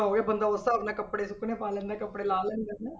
ਹੋ ਗਿਆ ਬੰਦਾ ਉਸ ਹਿਸਾਬ ਨਾਲ ਕੱਪੜੇ ਸੁੱਕਣੇ ਪਾ ਲੈਂਦਾ ਕੱਪੜੇ ਲਾਹ ਲੈਂਦਾ ਹੈ ਨਾ।